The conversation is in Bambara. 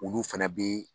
Olu fɛnɛ bɛ